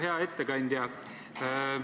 Hea ettekandja!